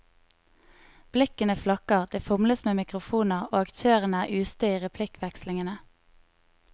Blikkene flakker, det fomles med mikrofoner og aktørene er ustø i replikkvekslingene.